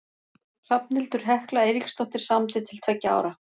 Hrafnhildur Hekla Eiríksdóttir samdi til tveggja ára.